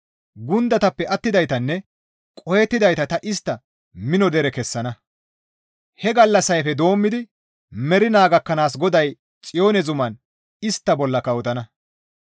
Gundatappe attidaytanne qohettidayta ta istta mino dere kessana; he gallassayfe doommidi mernaa gakkanaas GODAY Xiyoone zuman istta bolla kawotana.